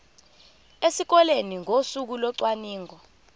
esikoleni ngosuku locwaningo